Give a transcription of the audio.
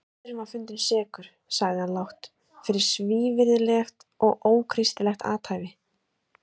Maðurinn var fundinn sekur, sagði hann lágt,-fyrir svívirðilegt og ókristilegt athæfi.